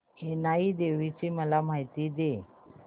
इनाई देवीची मला माहिती दे